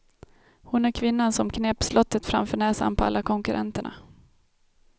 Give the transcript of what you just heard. Hon är kvinnan som knep slottet framför näsan på alla konkurrenterna.